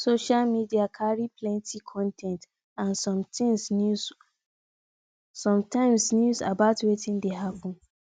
social media carry plenty con ten t and some times news about wetin dey happen